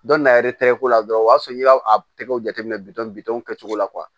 Dɔn na yɛrɛ tɛgɛko la dɔrɔn o y'a sɔrɔ i y'a tɛgɛw jateminɛ bitɔw kɛcogo la